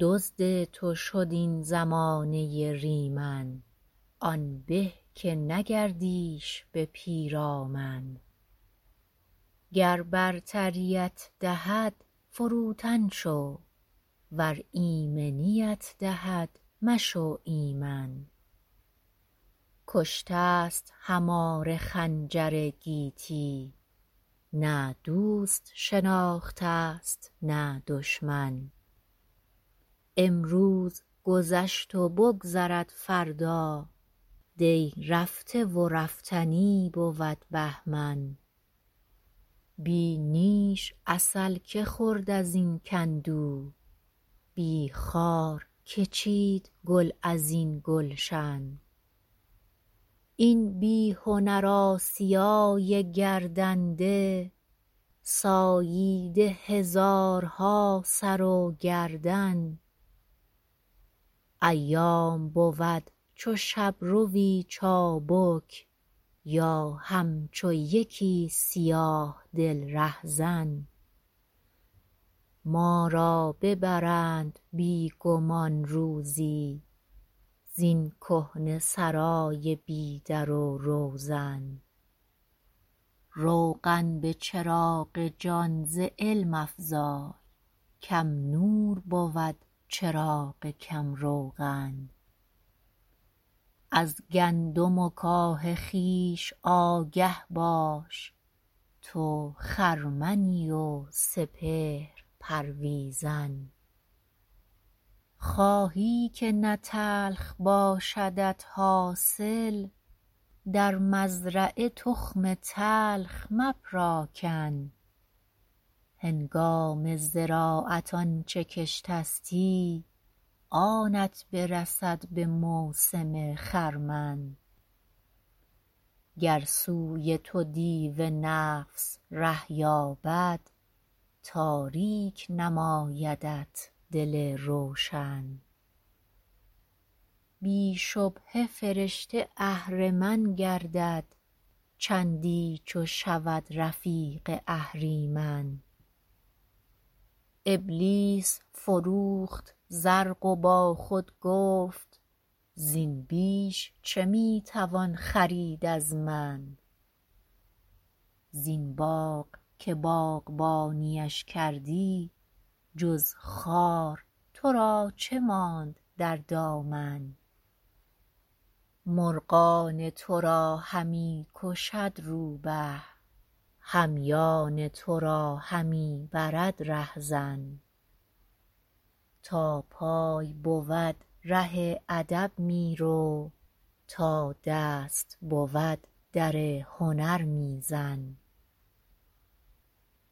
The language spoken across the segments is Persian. دزد تو شد این زمانه ریمن آن به که نگردیش به پیرامن گر برتریت دهد فروتن شو ور ایمنیت دهد مشو ایمن کشته است هماره خنجر گیتی نه دوست شناختست نه دشمن امروز گذشت و بگذرد فردا دی رفته و رفتنی بود بهمن بی نیش عسل که خورد ازین کندو بی خار که چید گل ازین گلشن این بیهنر آسیای گردنده ساییده هزارها سر و گردن ایام بود چو شبروی چابک یا همچو یکی سیاه دل رهزن ما را ببرند بی گمان روزی زین کهنه سرای بی در و روزن روغن بچراغ جان ز علم افزای کم نور بود چراغ کم روغن از گندم و کاه خویش آگه باش تو خرمنی و سپهر پرویزن خواهی که نه تلخ باشدت حاصل در مزرعه تخم تلخ مپراکن هنگام زراعت آنچه کشتستی آنت برسد بموسم خرمن گر سوی تو دیو نفس ره یابد تاریک نمایدت دل روشن بی شبهه فرشته اهرمن گردد چندی چو شود رفیق اهریمن ابلیس فروخت زرق وبا خود گفت زین بیش چه میتوان خرید از من زین باغ که باغبانیش کردی جز خار ترا چه ماند در دامن مرغان ترا همی کشد رو به همیان ترا همی برد رهزن تا پای بود راه ادب میرو تا دست بود در هنر میزن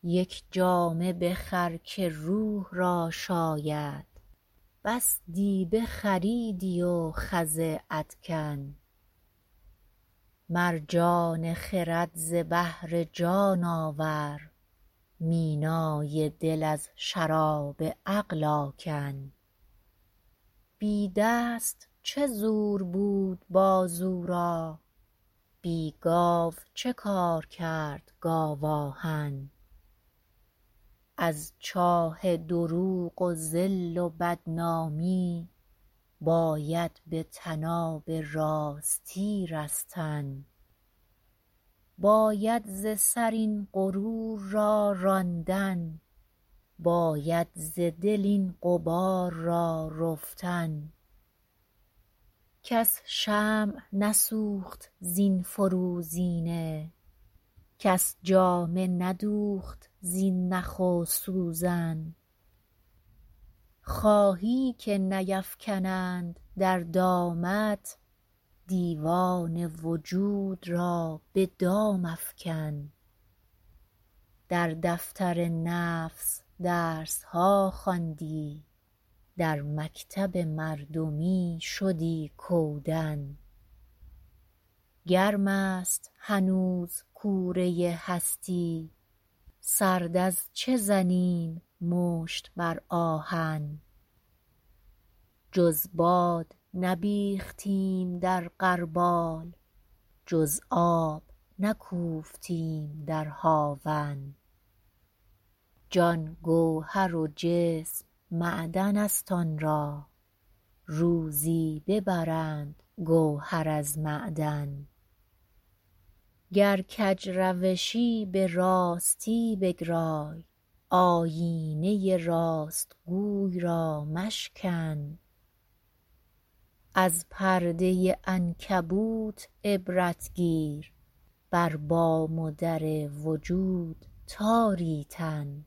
یک جامه بخر که روح را شاید بس دیبه خریدی و خز ادکن مرجان خرد ز بحر جان آورد مینای دل از شراب عقل آکن بی دست چه زور بود بازو را بی گاو چه کار کرد گاو آهن از چاه دروغ و ذل بدنامی باید به طناب راستی رستن باید ز سر این غرور را راندن باید ز دل این غبار را رفتن کس شمع نسوخت زین فروزینه کس جامه ندوخت زین نخ و سوزن خواهی که نیفکنند در دامت دیوان وجود را به دام افکن در دفتر نفس درسها خواندی در مکتب مردمی شدی کودن گرمست هنوز کوره هستی سرد از چه زنیم مشت بر آهن جز باد نبیختیم در غربال جز آب نکوفتیم در هاون جان گوهر و جسم معدنست آنرا روزی ببرند گوهر از معدن گر کج روشی براستی بگرای آیینه راستگوی را مشکن از پرده عنکبوت عبرت گیر بر بام و در وجود تاری تن